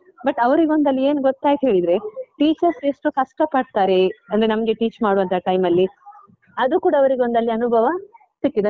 but ಅವ್ರಿಗೊಂದಲ್ಲಿ ಏನ್ ಗೊತ್ತಾಯ್ತ್ ಹೇಳಿದ್ರೆ, teachers ಎಷ್ಟು ಕಷ್ಟ ಪಡ್ತಾರೆ, ಅಂದ್ರೆ ನಮ್ಗೆ teach ಮಾಡುವಂತ time ಅಲ್ಲಿ ಅದೂ ಕೂಡ ಅವರಿಗೊಂದಲ್ಲಿ ಅನುಭವ ಸಿಕ್ಕಿದೆ.